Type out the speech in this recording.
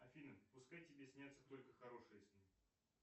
афина пускай тебе снятся только хорошие сны